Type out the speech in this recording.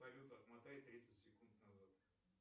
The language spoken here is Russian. салют отмотай тридцать секунд назад